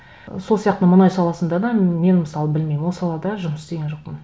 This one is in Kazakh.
сол сияқты мұнай саласында да мен мысалы білмеймін ол салада жұмыс істеген жоқпын